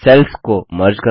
sales को merge करना